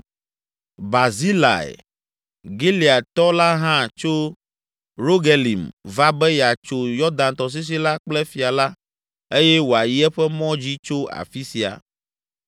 Barzilai, Gileadtɔ la hã tso Rogelim va be yeatso Yɔdan tɔsisi la kple fia la eye wòayi eƒe mɔ dzi tso afi sia.